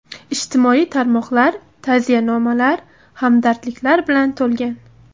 Ijtimoiy tarmoqlar ta’ziyanomalar, hamdardliklar bilan to‘lgan.